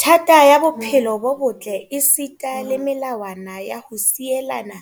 thata ya bophelo bo botle esita le melawana ya ho sielana